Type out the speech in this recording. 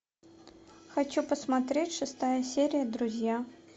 хочу посмотреть шестая серия друзья